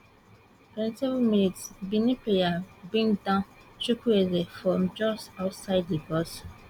twenty seven mins benin player bring down chukwueze from just outside di box